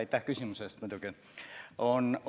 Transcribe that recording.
Aitäh küsimuse eest, muidugi!